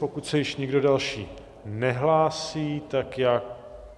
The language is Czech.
Pokud se již nikdo další nehlásí, tak já...